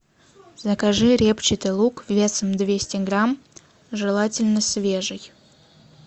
закажи репчатый лук весом двести грамм желательно свежий